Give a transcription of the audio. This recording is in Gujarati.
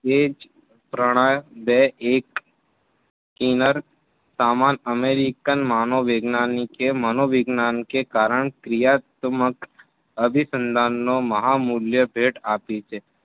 બે જ પ્રણા બે એક કિન્નર સમાન અમેરિકન માનો વૈજ્ઞાનિકે મનોવિજ્ઞાનકે કારણ ક્રિયાત્મક અભીસંધાનનો મહામૂલ્ય ભેટ આપી છે.